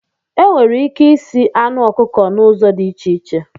Enwere ike isi anụ ọkụkọ na ụzọ dị iche iche